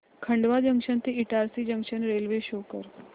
Khandwa junction ते Itarsi junction railway show कर